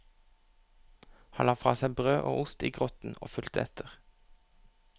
Han la fra seg brød og ost i grotten og fulgte etter.